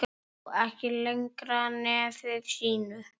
Sá ekki lengra nefi sínu.